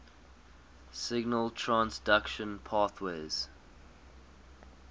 signal transduction pathways